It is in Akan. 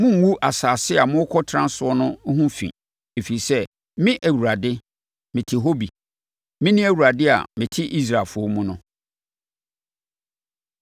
Monngu asase a morekɔtena so no ho fi, ɛfiri sɛ, Me, Awurade mete hɔ bi. Mene Awurade a mete Israelfoɔ mu no.”